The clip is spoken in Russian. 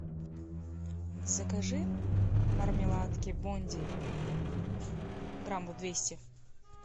закажи мармеладки бонди граммов двести